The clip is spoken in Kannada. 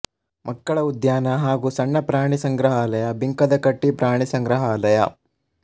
ಮಕ್ಕಳ ಉದ್ಯಾನ ಹಾಗೂ ಸಣ್ಣ ಪ್ರಾಣಿ ಸಂಗ್ರಹಾಲಯ ಬಿಂಕದಕಟ್ಟಿ ಪ್ರಾಣಿ ಸಂಗ್ರಹಾಲಯ